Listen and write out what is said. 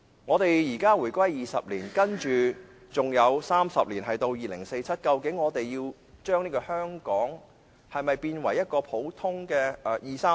香港已回歸20年 ，30 年後便是2047年，我們是否要將香港變為內地一個普通的二三線城市？